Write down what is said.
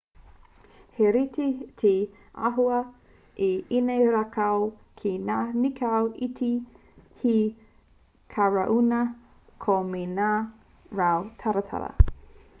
he rite te āhua o ēnei rākau ki ngā nīkau iti he karauna koi me ngā rau taratara